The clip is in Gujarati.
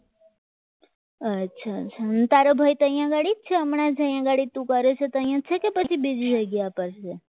અચ્છા અચ્છા તારા ભાઈ ત્યાં આગળી છે હમણાં જ્યાં તું કરે છે તે કે બીજી જગ્યા પર છે